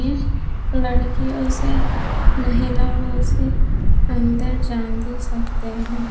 ये लड़कियों से महिलाओं से अंदर जान दे सकते है।